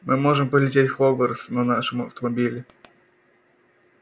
мы можем полететь в хогвартс на нашем автомобиле